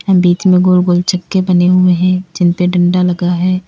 बीच में गोल गोल चक्के बने हुए है जिनपे डंडा लगा है।